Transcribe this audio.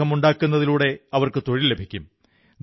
വിഗ്രഹങ്ങളുണ്ടാക്കുന്നതിലൂടെ അവർക്കു തൊഴിൽ ലഭിക്കും